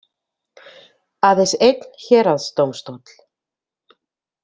Aðeins einn héraðsdómstóll.